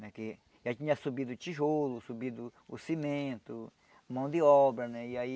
Já tinha subido tijolo, subido o cimento, mão de obra, né, e aí